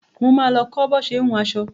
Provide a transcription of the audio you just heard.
Mo ma lọ kọ́ bo ṣé ń hun aṣọ